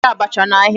A na-ere abacha ahịa.